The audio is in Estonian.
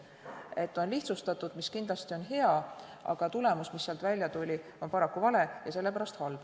Seda on lihtsustatud, mis kindlasti on hea, aga tulemus, mis sealt välja tuli, on paraku vale ja sellepärast halb.